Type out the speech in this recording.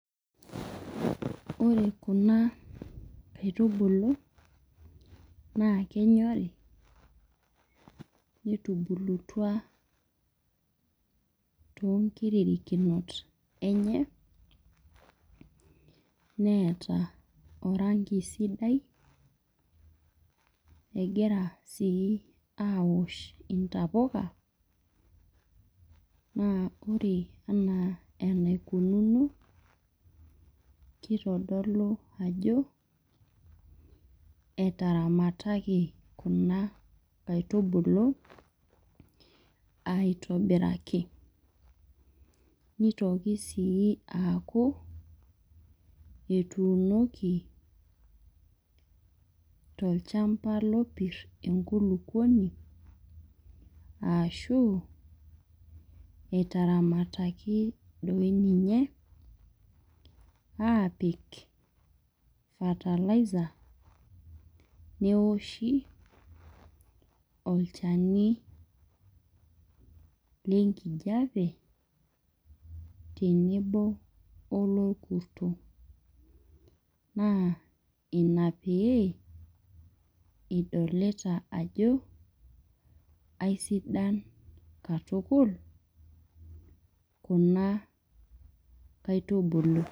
Ore kuna kaitubulu, naa kenyori netubulutua tonkirikinot enye, neeta oranki sidai. Egira si awosh intapuka, naa ore enaa enaikununo, kitodolu ajo, etaramataki kuna kaitubulu, aitobiraki. Nitoki aaku, etuunoki tolchamba lopir enkulukuoni, ashu etaramataki doi ninye, aapik fertiliser, newoshi olchani lenkijape tenebo olorkuto. Naa ina pee, idolita ajo, aisidan katukul, kuna kaitubulu.